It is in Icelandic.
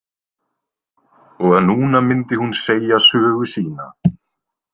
Og að núna myndi hún segja sögu sína.